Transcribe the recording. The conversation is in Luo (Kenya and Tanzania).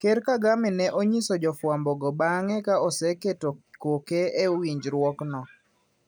Ker Kagame ne onyiso jofwambo go bang`e ka oseketo koke e winjruokno.